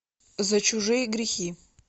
за чужие грехи